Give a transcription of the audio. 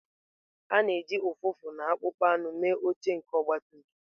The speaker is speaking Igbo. A na-eji ụfụfụ na akpụkpọ anụ mee oche nke ọgbatumtum.